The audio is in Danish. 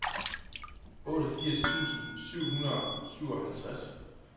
otteogfirs tusind syv hundrede og syvoghalvtreds